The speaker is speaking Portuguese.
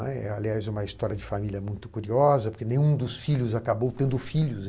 Aliás, é uma história de família muito curiosa, porque nenhum dos filhos acabou tendo filhos.